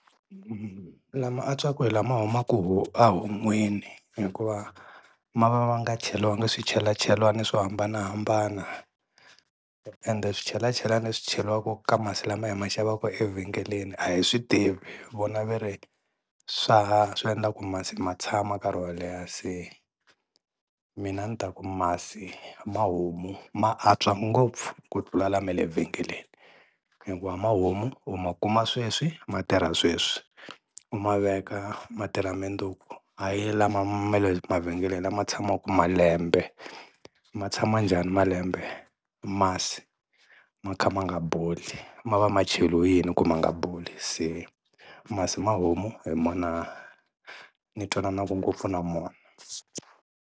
Lama antswaka hi lama humaka a ehon'wini hikuva ma va ma nga cheliwanga swichelachelani swo hambanahambana ende swichelachelani leswi cheriwaka ka masi lama hi ma xavaka evhengeleni a hi swi tivi, vona va ri swa swi endla ku masi ma tshama nkarhi wo leha. Se mina ni ta ku masi ma homu ma antswa ngopfu ku tlula lama le vhengele hikuva ma homu u ma kuma sweswi ma tirha sweswi, u ma veka ma tirha mundzuku hayi lama ma le mavhengeleni lama tshamaka malembe ma tshama njhani malembe masi, ma kha ma nga boli ma va ma cheliwe yini ku ma nga boli, se masi mahomu hi wona ni twananaka ngopfu na wona.